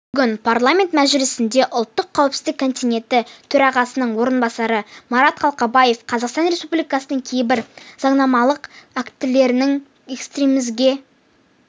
бүгін парламент мәжілісінде ұлттық қауіпсіздік комитеті төрағасының орынбасары марат қалқабаев қазақстан республикасының кейбір заңнамалық актілеріне экстремизмге